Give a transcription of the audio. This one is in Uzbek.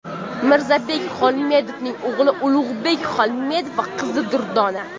Mirzabek Xolmedovning o‘g‘li Ulug‘bek Xolmedov va qizi Durdona.